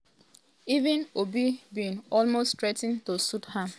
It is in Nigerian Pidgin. even obi bin almost threa ten to sue am.